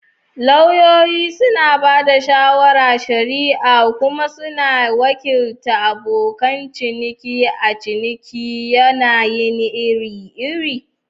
Lauyoyi suna ba da shawarar shari'a kuma suna wakiltar abokan ciniki a cikin yanayi iri-iri.